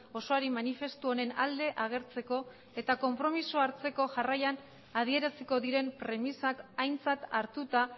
osoari manifestu honen alde agertzeko eta konpromezu hartzeko jarraian adieraziko diren premisak aintzat hartuta